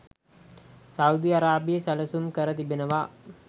Saudi අරාබිය සැලසුම් කර තිබෙනවා.